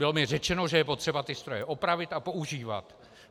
Bylo mi řečeno, že je potřeba ty stroje opravit a používat.